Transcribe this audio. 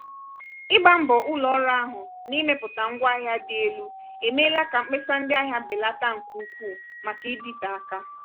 ịba mbọ ụlọ ọrụ ahụ n'imepụta ngwaahịa dị elu emeela ka mkpesa ndị ahịa belata nke ukwuu maka ịdịte aka.